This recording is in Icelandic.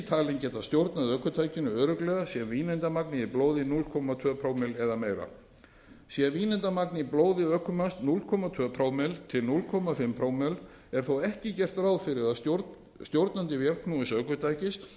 talinn geta stjórnað ökutækinu örugglega sé vínandamagnið í blóði núll komma tvö prómill eða meira sé vínandamagn í blóði ökumanns núll komma tvö til hálf prómill er þó ekki gert ráð fyrir að stjórnandi vélknúins ökutækis